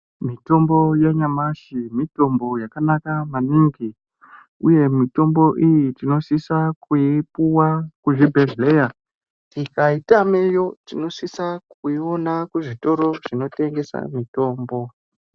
Mitombo yanyamashi mitombo yakanaka maningi. Mitombo iyi tinosise kuipuva kuzvibhehlera tikaitameyo tinosisa kuiona kuzvitoro zvinotengesa mitombo.